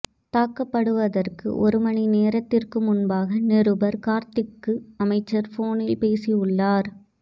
தாக்கப்படுவதற்கு ஒரு மணி நேரத்திற்கு முன்பாக நிருபர் கார்த்திக்கு அமைச்சர் போனில் பேசியுள்ளார்